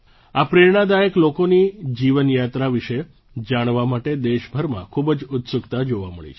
આ પ્રેરણાદાયક લોકોની જીવનયાત્રા વિશે જાણવા માટે દેશભરમાં ખૂબ જ ઉત્સુકતા જોવા મળી છે